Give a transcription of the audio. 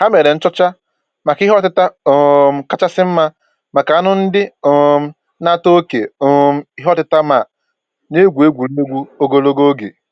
Ha mere nchọcha maka ihe ọtịta um kachasị mma maka anụ ndị um na-ata oké um ìhè ọtịta ma na-egwu egwuregwu ogologo oge